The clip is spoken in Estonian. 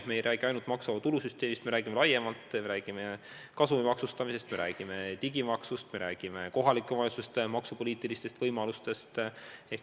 Me ei räägi ainult maksuvaba tulu süsteemist, me räägime laiemalt, me räägime kasumi maksustamisest, me räägime digimaksust, me räägime kohalike omavalitsuste maksupoliitilistest võimalustest.